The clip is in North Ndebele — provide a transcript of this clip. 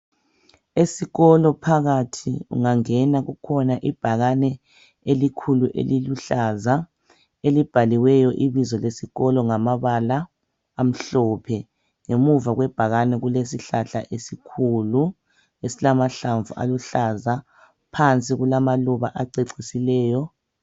Esikolo phakathi ungangena kukhona ibhakane elikhulu eliluhlaza elibhaliweyo ibizo lesikolo ngamabala amhlophe ngemuva kwebhakane kulesihlahla esikhulu esilamahlamvu aluhlaza phansi kulamaluba acecisileyo.